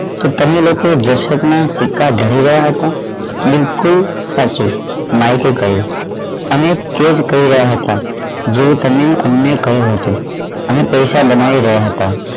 શું તમે લોકો દશરથ ના સિક્કા થોઇ રહ્યા હકું બિલકુલ સાચું માઇક એ કહ્યું અમે તે જ કહી રહ્યા હતા જે તમે અમને કહ્યું હતું અમે પૈસા બનાવી રહ્યા હતા